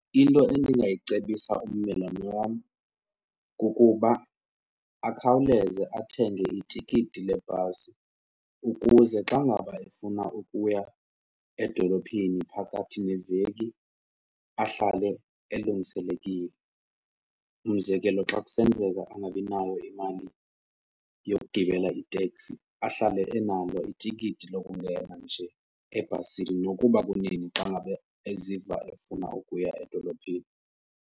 Into endingayicebisa ummelwane wam kukuba akhawuleze athenge itikiti lebhasi ukuze xa ngaba efuna ukuya edolophini phakathi neveki, ahlale elungiselekile. Umzekelo, xa kusenzeka angabinayo imali yokugibela iteksi ahlale enalo itikiti lokungena nje ebhasini nokuba kunini xa ngabe eziva efuna ukuya edolophini.